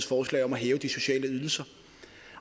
forslag om at hæve de sociale ydelser